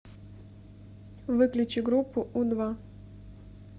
выключи группу у два